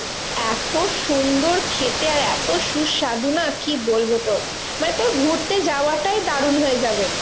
এত সুন্দর খেতে আর এত সুস্বাদু না কি বলবো তোকে? মানে তোর ঘুরতে যাওয়াটাই দারুন হয়ে যাবে।